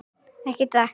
Ekki drekka.